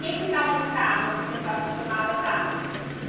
Quem é que estava no carro assim que a senhora costumava estar?